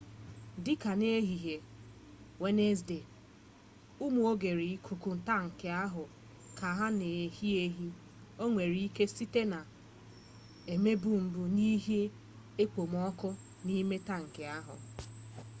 dị ka n'ehihie wenezdee ụmụ oghere ikuku tankị ahụ ka na-ehi ehi o nwere ike site na ebumibu n'ihi ekpomọkụ n'ime tankị ahụ